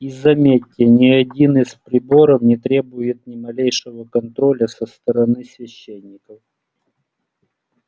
и заметьте ни один из приборов не требует ни малейшего контроля со стороны священников